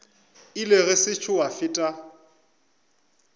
ile go sešo gwa feta